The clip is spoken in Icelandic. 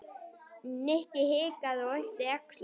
Nikki hikaði og yppti öxlum.